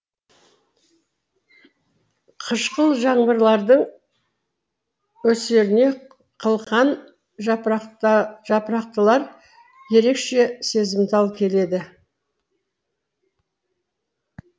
қышқыл жаңбырлардың өсеріне қылқан жапырақтылар ерекше сезімтал келеді